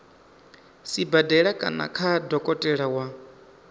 sibadela kana kha dokotela wa